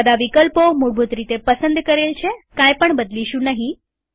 બધા વિકલ્પો મૂળભૂત રીતે પસંદ કરેલ છેકાઈ પણ બદલીશું નહીં